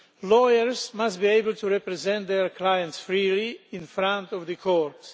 Lawyers must be able to represent their clients freely in front of the courts.